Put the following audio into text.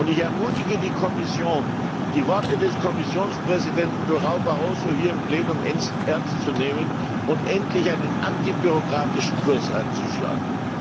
Und ich ermutige die Kommission, die Worte des Kommissionspräsidenten Barroso hier im Plenum ernst zu nehmen und endlich einen antibürokratischen Kurs einzuschlagen!